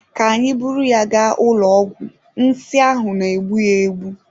Ka anyị buru ya gaa ụlọ ọgwụ nsi ahụ na-egbu ya ugbua.